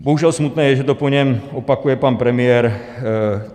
Bohužel smutné je, že to po něm opakuje pan premiér.